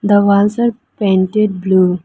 The walls are painted blue.